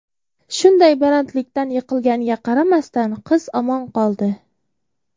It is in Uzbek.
Shunday balandlikdan yiqilganiga qaramasdan qiz omon qoldi.